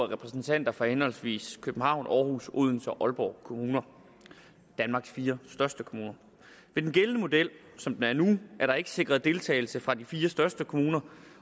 repræsentanter for henholdsvis københavns aarhus odense og aalborg kommuner danmarks fire største kommuner i den gældende model som den er nu er der ikke sikret deltagelse fra de fire største kommuner